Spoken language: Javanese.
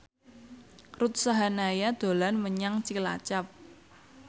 Ruth Sahanaya dolan menyang Cilacap